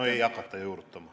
Seda ei hakata juurutama.